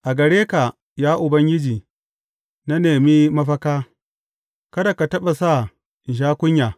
A gare ka, ya Ubangiji, na nemi mafaka; kada ka taɓa sa in sha kunya.